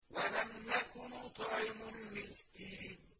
وَلَمْ نَكُ نُطْعِمُ الْمِسْكِينَ